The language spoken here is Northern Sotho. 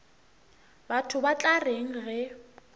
batho ba tla reng ge